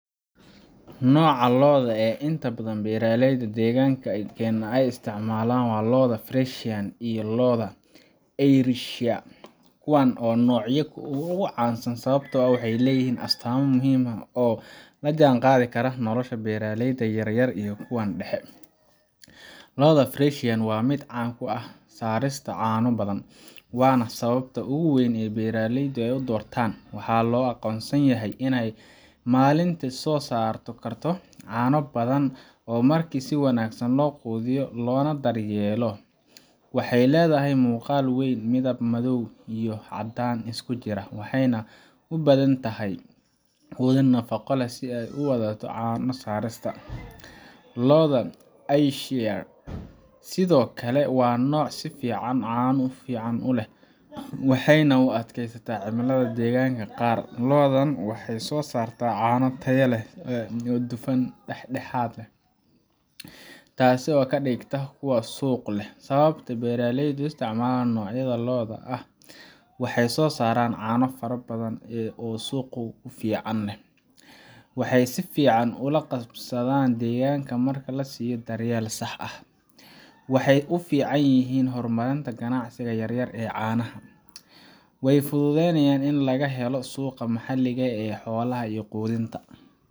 Nooca lo’da ee inta badan beeraleyda deegaankeena ay isticmaalaan waa lo’da Friesian iyo lo’da Ayrshire. Kuwani waa noocyada ugu caansan sababtoo ah waxay leeyihiin astaamo muhiim ah oo la jaanqaadi kara nolosha beeraleyda yar yar iyo kuwa dhexe. Lo’da Friesian waa mid caan ku ah soo saarista caano badan, waana sababta ugu weyn ee beeraleyda u doortaan. Waxaa loo aqoonsan yahay inay maalintii soo saari karto caano fara badan marka si wanaagsan loo quudiyo loona daryeelo. Waxay leedahay muuqaal weyn, midab madow iyo caddaan isku jiro, waxayna u baahan tahay quudin nafaqo leh si ay u sii wadato caano saarista. Lo’da Ayrshire sidoo kale waa nooc fiican oo caano fiican leh, waxayna u adkaysataa cimilada deegaannada qaar. Lo’dan waxay soo saartaa caano tayo leh oo leh dufan dhexdhexaad ah, taas oo ka dhigta kuwo suuq leh. Sababta beeraleydu u isticmaalaan noocyadan lo’da ayaa ah: Waxay soo saaraan caano fara badan oo suuq fiican leh. Waxay si fiican ula qabsadaan deegaanka marka la siiyo daryeel sax ah. Waxay u fiican yihiin horumarinta ganacsiga yar yar ee caanaha. Way fududahay in laga helo suuqa maxalliga ah ee xoolaha iyo quudinta.